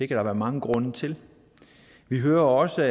der være mange grunde til vi hører også